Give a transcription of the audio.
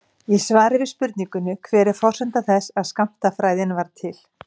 Í svari við spurningunni Hver er forsenda þess að skammtafræðin varð til?